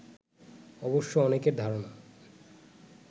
অবশ্য অনেকের ধারণা